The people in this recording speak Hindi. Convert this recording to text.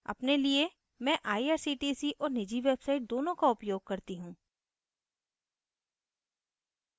अपने लिये मैं irctc और निजी website दोनों का उपयोग करती हूँ